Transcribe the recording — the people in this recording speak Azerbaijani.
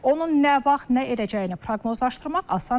Onun nə vaxt, nə edəcəyini proqnozlaşdırmaq asan deyil.